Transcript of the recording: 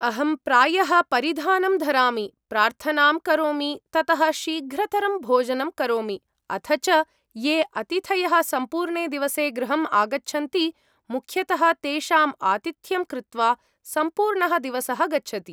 अहं प्रायः परिधानं धरामि, प्रार्थनां करोमि, ततः शीघ्रतरं भोजनं करोमि। अथ च ये अतिथयः सम्पूर्णे दिवसे गृहम् आगच्छन्ति, मुख्यतः तेषां आतिथ्यं कृत्वा सम्पूर्णः दिवसः गच्छति।